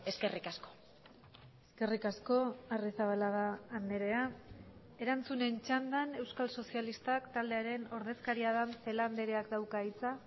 eskerrik asko eskerrik asko arrizabalaga andrea erantzunen txandan euskal sozialistak taldearen ordezkaria den celaá andreak dauka hitza